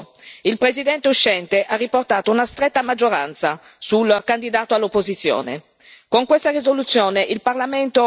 Tuttavia, il risultato è stato oggettivo, il presidente uscente ha riportato una stretta maggioranza sul candidato dell'opposizione.